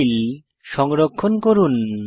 file সংরক্ষণ করুন